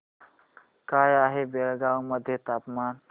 काय आहे बेळगाव मध्ये तापमान